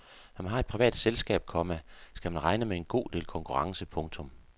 Når man har et privat selskab, komma skal man regne med en god del konkurrence. punktum